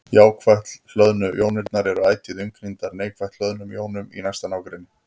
Jákvætt hlöðnu jónirnar eru ætíð umkringdar neikvætt hlöðnum jónum í næsta nágrenni.